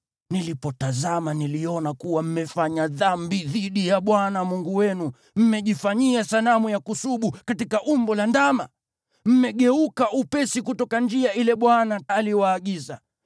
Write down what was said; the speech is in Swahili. Nilipotazama, niliona kuwa mmefanya dhambi dhidi ya Bwana Mungu wenu; mmejifanyia sanamu ya kusubu katika umbo la ndama. Mmegeuka upesi kutoka njia ile Bwana aliyowaagiza.